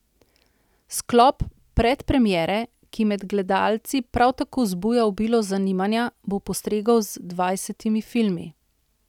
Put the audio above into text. Sklop Predpremiere, ki med gledalci prav tako zbuja obilo zanimanja, bo postregel z dvajsetimi filmi.